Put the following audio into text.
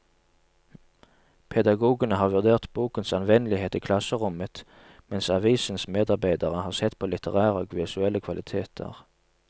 Pedagogene har vurdert bokens anvendelighet i klasserommet, mens avisens medarbeidere har sett på litterære og visuelle kvaliteter.